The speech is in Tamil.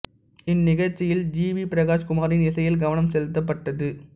இந்நிகழ்ச்சியில் ஜி வி பிரகாஷ் குமாரின் இசையில் கவனம் செலுத்தப்பட்டது